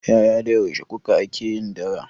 Yaya da yaushe kuka ake yin dara?